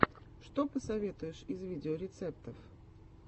что посоветуешь из видеорецептов